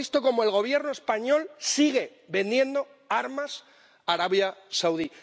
Hemos visto cómo el Gobierno español sigue vendiendo armas a Arabia Saudí.